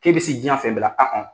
K'i bɛ se diɲɛ fɛ bɛɛ la